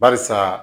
Barisa